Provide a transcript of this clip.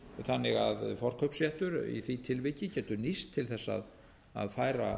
þannig að forkaupsréttur í því tilviki getur nýst til þess að færa